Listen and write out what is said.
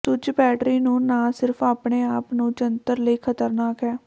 ਸੁੱਜ battery ਨੂੰ ਨਾ ਸਿਰਫ ਆਪਣੇ ਆਪ ਨੂੰ ਜੰਤਰ ਲਈ ਖ਼ਤਰਨਾਕ ਹੈ